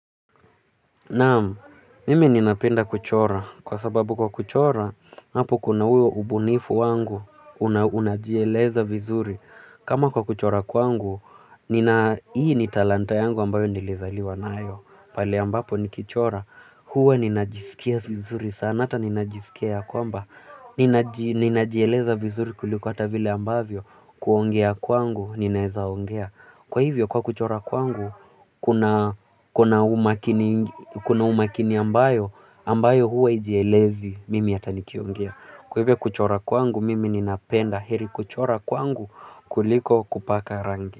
Naam, mimi ninapenda kuchora. Kwa sababu kwa kuchora, hapo kuna huo ubunifu wangu, unajieleza vizuri. Kama kwa kuchora kwangu hii ni talanta ambayo nilizaliwa nayo. Pale ambapo ni kichora. Huwa ninajisikia vizuri. Sana ata ninajisikia kwamba. Ninajieleza vizuri kuliko ata vile ambavyo. Kuongea kwangu, ninaweza ongea. Kwa hivyo kwa kuchora kwangu kuna kuna umakini ambayo, ambayo huwa ijielezi, mimi hata nikiongea. Kwa hivyo kuchora kwangu, mimi ninapenda heri kuchora kwangu kuliko kupaka rangi.